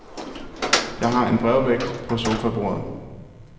Jeg har en brevvægt på sofabordet.